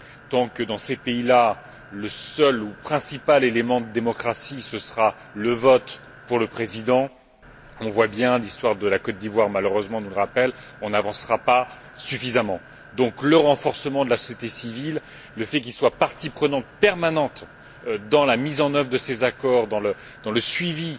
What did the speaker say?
Tant que, dans ces pays là, le seul ou le principal élément de démocratie, ce sera le vote pour le président, on le voit bien l'histoire de la Côte d'Ivoire nous le rappelle malheureusement on n'avancera pas suffisamment. Donc, le renforcement de la société civile, le fait qu'elle soit partie prenante permanente dans la mise en œuvre de ces accords, dans le suivi